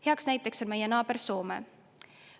Hea näide on meie naaber Soome.